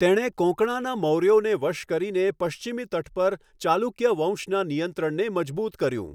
તેણે કોંકણાના મૌર્યોને વશ કરીને પશ્ચિમી તટ પર ચાલુક્ય વંશના નિયંત્રણને મજબૂત કર્યું.